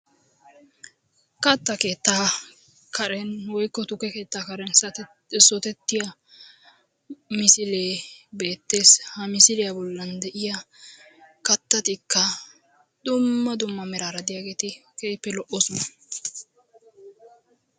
katta keettaa karen woykko tukke keettaa karen oosettiya misilee beettees, ha misiliya bollan de'iya katattikka dumma dumma meraara diyageeti keehippe lo'oososna.